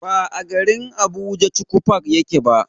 Ba a garin Abuja chuchu park yake ba.